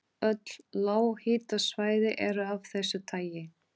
Öll lághitasvæði eru af þessu tagi.